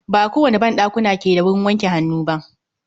Ba kowane ban ɗakuna ke da wurin wanke hannu ba.